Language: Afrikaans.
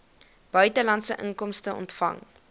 buitelandse inkomste ontvang